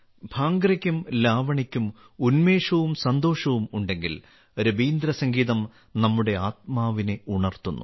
ഭാംഗ്രയ്ക്കും ലാവണിക്കും ഉന്മേഷവും സന്തോഷവും ഉണ്ടെങ്കിൽ രബീന്ദ്രസംഗീതം നമ്മുടെ ആത്മാവിനെ ഉണർത്തുന്നു